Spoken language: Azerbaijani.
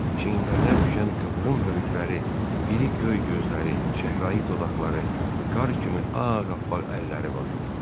Çiyinlərinə düşən qıvrım hörükləri, iri göy gözləri, çəhrayı dodaqları, qar kimi ağappaq əlləri vardı.